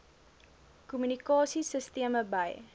kommunikasie sisteme by